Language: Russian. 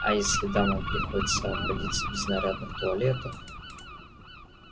а если дамам приходится обходиться без нарядных туалетов